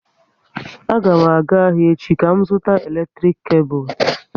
A ga m aga ahịa echi ka m zụta eletrik kebul